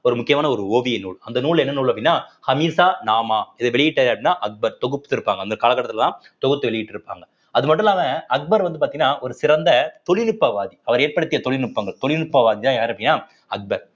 ஒரு முக்கியமான ஒரு ஓவிய நூல் அந்த நூல் என்ன நூல் அப்படின்னா ஹமிசா நாமா இதை வெளியிட்டது யாருன்னா அக்பர் தொகுத்து இருப்பாங்க அந்த காலகட்டத்திலதான் தொகுத்து வெளியிட்டு இருப்பாங்க அது மட்டும் இல்லாம அக்பர் வந்து பாத்தீங்கன்னா ஒரு சிறந்த தொழில்நுட்பவாதி அவர் ஏற்படுத்திய தொழில்நுட்பங்கள் தொழில்நுட்பவாதின்னா யாரு அப்படின்னா அக்பர்